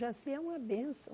Jaci é uma bênção.